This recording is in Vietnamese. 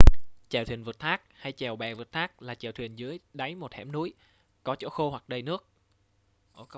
chèo thuyền vượt thác hay: chèo bè vượt thác là chèo thuyền dưới đáy một hẻm núi có chỗ khô hoặc đầy nước